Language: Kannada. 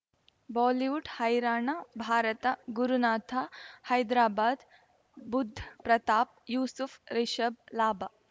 ಬಾಲಿವುಡ್ ಹೈರಾಣ ಭಾರತ ಗುರುನಾಥ ಹೈದರಾಬಾದ್ ಬುಧ್ ಪ್ರತಾಪ್ ಯೂಸುಫ್ ರಿಷಬ್ ಲಾಭ